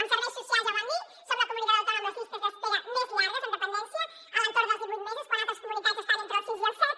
en serveis socials ja ho vam dir som la comunitat autònoma amb les llistes d’espera més llargues en dependència a l’entorn dels divuit mesos quan altres comunitats estan entre els sis i els set